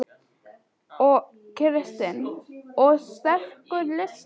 Kristinn: Og sterkur listi?